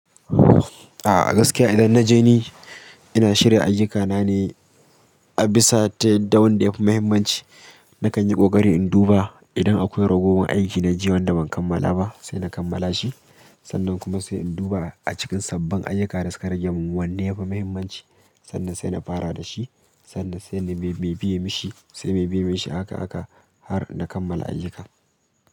A gaskiya idan na je ni, ina shirya ayyukana ne a bisa ta da wanda ya fi muhimmanci. Nakan yi ƙoƙari in duba idan akwai ragowar aiki na jiya wanda ban kammala ba sai na kammala shi. Sannan kuma sai in duba a cikin sabbin ayyuka da suka rage min wanne ya fi muhimmanci sannan sai na fara da shi sannan sai me biye mishi sai mai biye mishi haka haka har na kammala ayyuka.